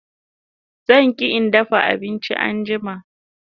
Zan ke in dafa abinchin anjima